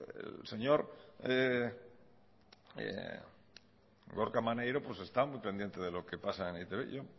el señor gorka maneiro pues está muy pendiente de lo que pasa en e i te be yo